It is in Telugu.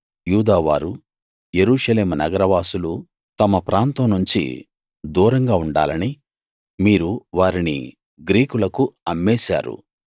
యూదావారూ యెరూషలేము నగరవాసులూ తమ ప్రాంతం నుంచి దూరంగా ఉండాలని మీరు వారిని గ్రీకులకు అమ్మేశారు